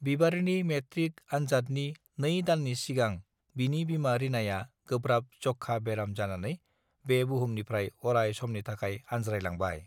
बिबारिनि मेट्रिक अनजादनि नै दाननि सिगां बिनि बिमा रिनाया गोब्राब जक्षा बेराम जानानै बे बुहुमनिफ्राय अराय समनि थाखाय आनज्राय लांबाय